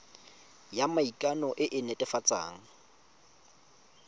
ya maikano e e netefatsang